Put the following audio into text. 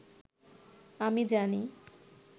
আমি জানি